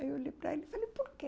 Aí olhei para ele e falei, por quê?